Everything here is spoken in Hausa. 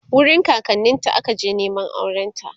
wurin kakanninta ta akaje Neman aurenta